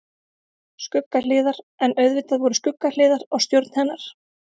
Skuggahliðar En auðvitað voru skuggahliðar á stjórn hennar.